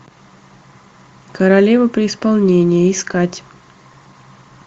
королева при исполнении искать